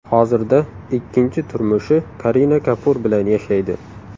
Hozirda ikkinchi turmushi Karina Kapur bilan yashaydi.